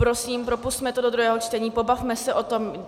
Prosím, propusťme to do druhého čtení, pobavme se o tom.